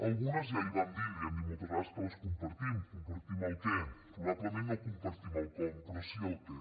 algunes ja li ho vam dir li ho hem dit moltes vegades que les compartim compartim el què probablement no compartim el com però sí el què